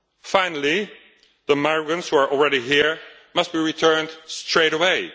Finally, the migrants who are already here must be returned straight away.